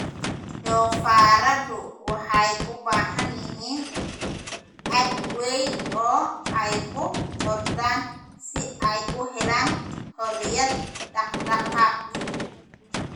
Doofaarradu waxay u baahan yihiin aag weyn oo ay ku ordaan si ay u helaan xorriyad dhaqdhaqaaq.